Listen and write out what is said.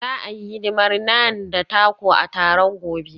Za a yi hidimar Naan da taco a taron gobe.